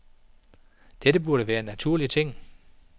Dette burde være en naturlig ting.